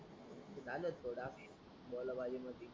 ते झालच थोड आ बोला बली मधी